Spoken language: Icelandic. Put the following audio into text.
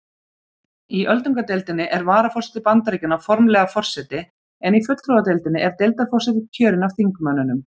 Í öldungadeildinni er varaforseti Bandaríkjanna formlega forseti en í fulltrúadeildinni er deildarforseti kjörinn af þingmönnunum.